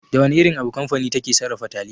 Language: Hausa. Da wana irin abu kamfani take sarrafa taliya?